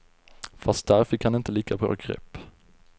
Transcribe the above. Fast där fick han inte lika bra grepp.